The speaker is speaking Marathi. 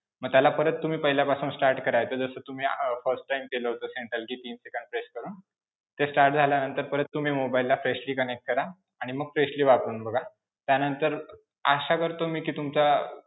मग त्याला परत तुम्ही पहिल्यापासून start करायचं जसं तुम्ही अं first time केलं होतं central key तीन सेकंद press करून, ते start झाल्यानंतर परत तुम्ही mobile ला freshally connect करा आणि मग freshally वापरून बघा. त्यानंतर अं आशा करतो कि मी तुमचा